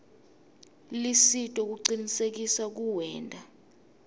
lusito kucinisekisa kuwenta